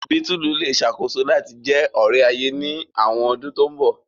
Bítùlù le ṣakoso lati jẹ ore-aye ni awọn ọdun to nbọ.